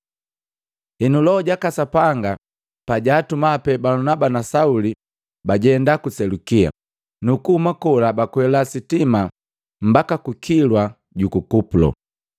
Henu, Loho jaka Sapanga pajaatuma pee Balunaba na Sauli, bajenda ku Selukia, nukuhuma kola bakwela sitima mbaki ku kilwa juku Kupulo.